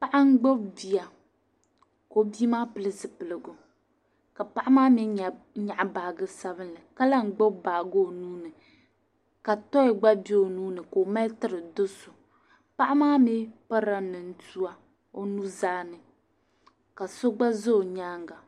Paɣa n gbubi bia ka o bia maa pili zupiligu ka paɣa maa mi nyaɣi baaje sabinli ka lan gbubi baaje o nuuni ka toyi gba bɛ o nuuni ka o mali tiri do'so paɣa maa mi pirila ni tua o nuzaa ni ka so gba za o nyaaŋa.